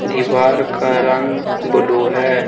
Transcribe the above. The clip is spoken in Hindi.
दीवार का रंग ब्लू है।